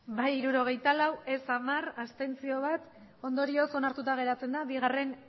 bai hirurogeita lau ez hamar abstentzioak bat ondorioz onartuta geratzen da